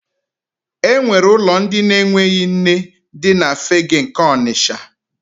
E nwere ụlọ ndị na-enweghị nne dị na Fegge nke Ọnisha.